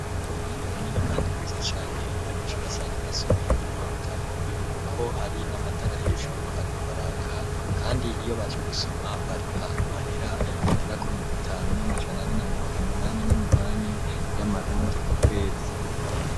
Uruhande runini kandi rwiza cane abanyeshuri basanzwe basomeramwo ibitabo kuko hari n'amatara hejuru arikwaraka kandi iyo baje gusoma bariha mahera agira ku bihumbi bitanu n'amajana ane na mirongo munani nu munani y'amarundi ku kwezi.